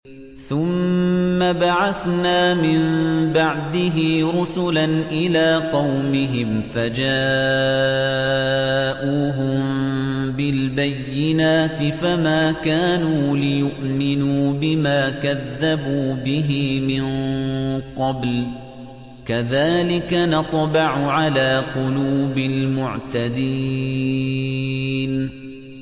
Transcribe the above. ثُمَّ بَعَثْنَا مِن بَعْدِهِ رُسُلًا إِلَىٰ قَوْمِهِمْ فَجَاءُوهُم بِالْبَيِّنَاتِ فَمَا كَانُوا لِيُؤْمِنُوا بِمَا كَذَّبُوا بِهِ مِن قَبْلُ ۚ كَذَٰلِكَ نَطْبَعُ عَلَىٰ قُلُوبِ الْمُعْتَدِينَ